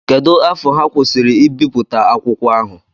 Kedụ afọ ha kwụsịri ibipụta akwụkwọ ahụ?